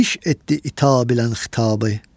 Biş etdi itab ilə xitabı.